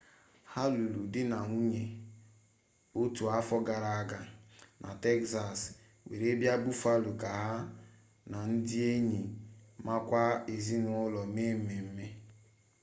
ha lụrụ di na nwunye otu afọ gara aga na tekzas were bịa buffalo ka ha na ndị enyi makwa ezinụlọ me mmemme